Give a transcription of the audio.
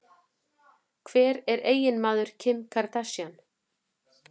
Hver er eiginmaður Kim Kardashian?